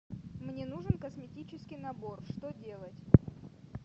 мне нужен косметический набор что делать